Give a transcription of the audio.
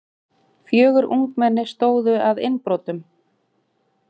Fjögur ungmenni stóðu að innbrotum